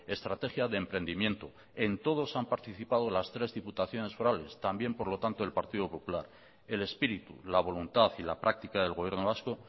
estrategia de emprendimiento en todos han participado las tres diputaciones forales también por lo tanto el partido popular el espíritu la voluntad y la práctica del gobierno vasco